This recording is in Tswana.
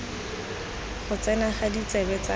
go tsena ga ditsebe tsa